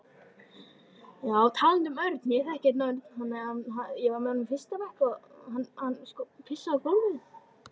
Hún horfði á Örn. Hann kinkaði kolli.